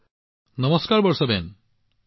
নমস্তেনমস্তে বৰ্ষাবেন